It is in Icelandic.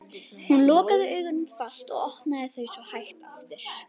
Hún lokaði augunum fast og opnaði þau svo hægt aftur.